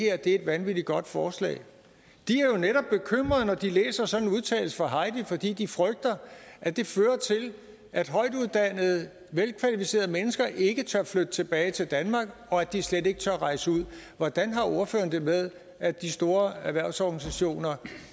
er et vanvittig godt forslag de er jo netop bekymrede når de læser sådan en udtalelse fra heidi fordi de frygter at det fører til at højtuddannede velkvalificerede mennesker ikke tør flytte tilbage til danmark og at de slet ikke tør rejse ud hvordan har ordføreren det med at de store erhvervsorganisationer